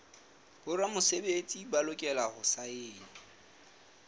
boramesebetsi ba lokela ho saena